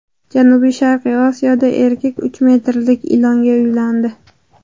Janubi-Sharqiy Osiyoda erkak uch metrlik ilonga uylandi.